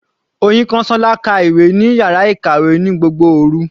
Oyinkansola ka ìwé ní yàrá ìkàwé ní gbogbo òru.